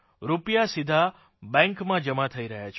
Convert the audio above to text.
રૂપિયા સીધા બેંકમાં જમા થઇ રહ્યા છે